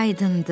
Aydındır.